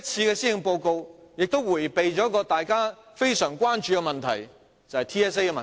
這份施政報告也迴避了一個大家非常關注的問題，就是 TSA 的問題。